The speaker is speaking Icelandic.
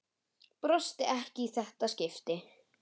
Brosti ekki í þetta skipti.